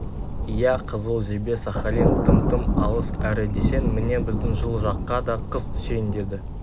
иә қызыл жебе сахалин тым-тым алыс әрі десең міне біздің жылы жаққа да қыс түсейін деді